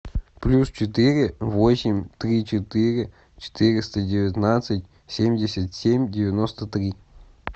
плюс четыре восемь три четыре четыреста девятнадцать семьдесят семь девяносто три